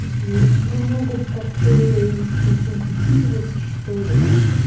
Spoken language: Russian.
не могут как-то сконцентрироваться что ли